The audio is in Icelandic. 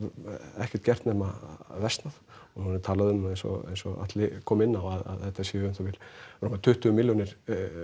ekkert gert nema versnað og nú er er talað um eins og eins og Atli kom inn á að þetta séu um það bil rúmlega tuttugu milljónir